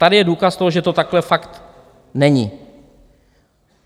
Tady je důkaz toho, že to takhle fakt není.